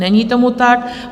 Není tomu tak.